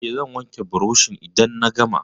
Eh, zan wanke burushin idan na gama.